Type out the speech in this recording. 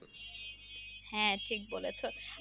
হ্যাঁ ঠিক বলেছো।